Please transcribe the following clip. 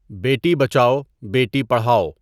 بیٹی بچاؤ بیٹی پڑھاؤ